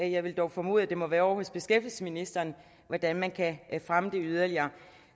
jeg vil dog formode at det må være ovre hos beskæftigelsesministeren hvordan man kan fremme det yderligere